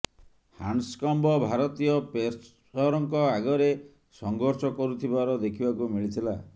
Handscomb ଭାରତୀୟ ପେସର୍ଙ୍କ ଆଗରେ ସଂଘର୍ଷ କରୁଥିବାର ଦେଖିବାକୁ ମିଳିଥିଲା